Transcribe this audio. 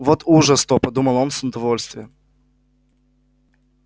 вот ужас-то подумал он с удовольствием